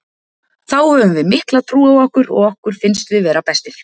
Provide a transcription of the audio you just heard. Þá höfum við mikla trú á okkur og okkur finnst við vera bestir.